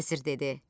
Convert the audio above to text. Vəzir dedi: